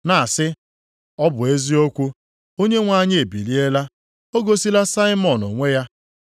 na-asị, “Ọ bụ eziokwu, Onyenwe anyị ebiliela, o gosila Saimọn onwe ya.”